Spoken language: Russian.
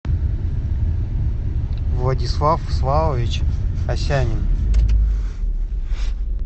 владислав славович осянин